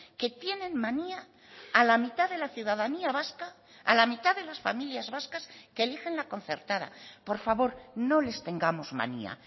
que tienen manía a la mitad de la ciudadanía vasca a la mitad de las familias vascas que eligen la concertada por favor no les tengamos manía